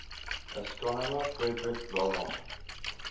astronomer friedrich wilhelm